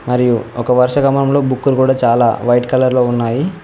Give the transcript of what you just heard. మరియు ఒక వరుసక్రమంలో బుక్కులు కూడ చాలా వైట్ కలర్ లో ఉన్నాయి.